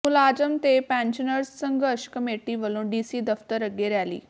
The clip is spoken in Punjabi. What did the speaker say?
ਮੁਲਾਜ਼ਮ ਤੇ ਪੈਨਸ਼ਨਰਜ਼ ਸੰਘਰਸ਼ ਕਮੇਟੀ ਵੱਲੋਂ ਡੀਸੀ ਦਫ਼ਤਰ ਅੱਗੇ ਰੈਲੀ